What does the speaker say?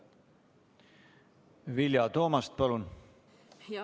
Vilja Toomast, palun!